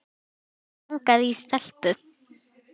Mig langaði í stelpu.